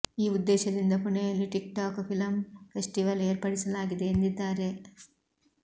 ಈ ಉದ್ದೇಶದಿಂದ ಪುಣೆಯಲ್ಲಿ ಟಿಕ್ ಟಾಕ್ ಫಿಲಂ ಫೆಸ್ಟಿವಲ್ ಏರ್ಪಡಿಸಲಾಗಿದೆ ಎಂದಿದ್ದಾರೆ